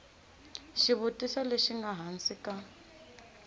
xivutiso lexi nga hansi ka